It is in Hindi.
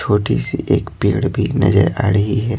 छोटी सी एक पेड़ भी नजर आ रही है।